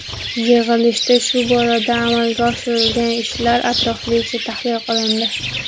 Yig‘ilishda shu borada amalga oshirilgan ishlar atroflicha tahlil qilindi.